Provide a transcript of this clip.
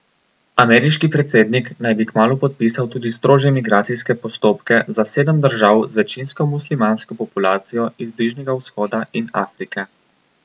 Ameriški predsednik naj bi kmalu podpisal tudi strožje migracijske postopke za sedem držav z večinsko muslimansko populacijo iz Bližnjega vzhoda in Afrike.